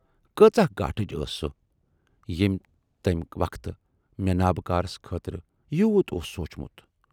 کۭژاہ گاٹٕچ ٲس سۅ ییمۍ تمی وقتہٕ مےٚ نابٕکارس خٲطرٕ یوٗت اوس سوٗنچمُت۔